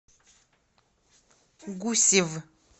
гусев